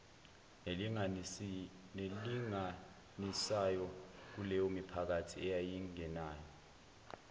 nelinganisayo kuleyomiphakathi eyayingenawo